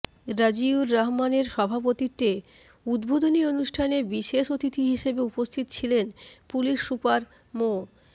রাজিউর রহমানের সভাপতিত্বে উদ্বোধনী অনুষ্ঠানে বিশেষ অতিথি হিসেবে উপস্থিত ছিলেন পুলিশ সুপার মো